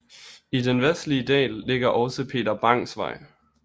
I den vestlige del ligger også Peter Bangs Vej